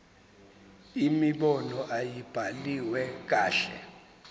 imibono ayibhaliwe kahle